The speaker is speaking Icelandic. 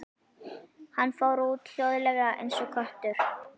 Hann fór út, hljóðlega eins og köttur.